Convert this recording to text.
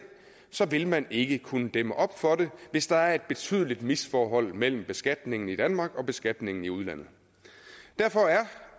så vil man ikke kunne dæmme op for det hvis der er et betydeligt misforhold mellem beskatningen i danmark og beskatningen i udlandet derfor